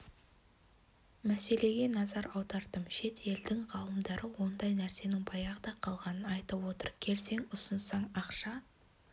мәселеге назар аудардым шет елдің ғалымдары ондай нәрсенің баяғыда қалғанын айтып отыр келсең ұсынсаң ақша